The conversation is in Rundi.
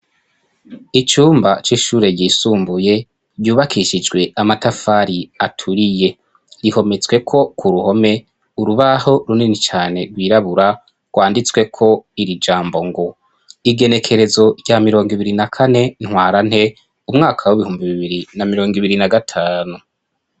icumba c'ishure yisumbuye ryubakishijwe amatafari aturiye rihometswe ko ku ruhome urubaho runini cyane rwirabura rwanditswe ko iri jambo ngo igenekerezo rya mirongo ibiri na kane ntwarante umwaka w'ibihumbi bibiri na mirongo ibiri na gatanu.